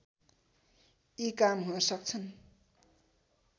यी काम हुनसक्छन्